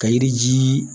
Ka yiri ji